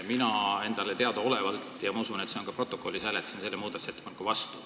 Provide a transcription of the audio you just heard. Mina enda teada – ja ma usun, et see on ka protokollis – hääletasin selle muudatusettepaneku vastu.